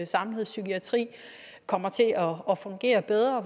samlede psykiatri kommer til at fungere bedre